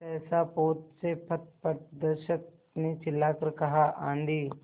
सहसा पोत से पथप्रदर्शक ने चिल्लाकर कहा आँधी